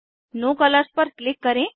no colours पर click करें